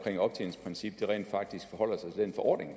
et optjeningsprincip